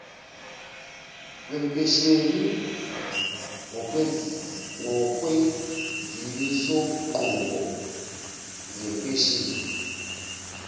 wempesheni ngokwezimisonqubo zempesheni